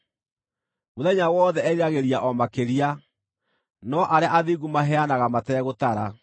Mũthenya wothe eriragĩria o makĩria, no arĩa athingu maheanaga mategũtara.